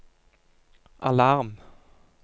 alarm